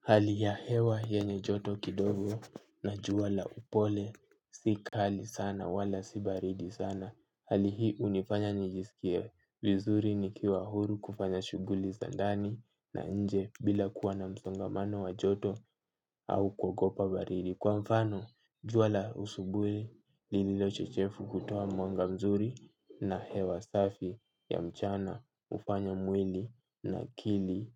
Hali ya hewa yenye joto kidogo na jua la upole si kali sana wala si baridi sana. Hali hii hunifanya nijisikie vizuri nikiwa huru kufanya shughuli zandani na inje bila kuwa na msongamano wa joto au kuogopa baridi. Kwa mfano jua la asubui lililo chechevu hutowa mwanga mzuri na hewa safi ya mchana hufanya mwili na akili